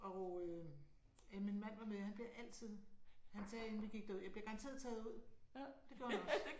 Og øh ja min mand var med. Han bliver altid han sagde inden vi gik derud jeg bliver garanteret taget ud. Det gjorde han også